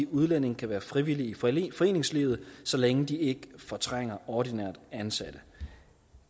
udlændinge kan være frivillige frivillige i foreningslivet så længe de ikke fortrænger ordinært ansatte